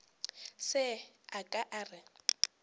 se a ka a re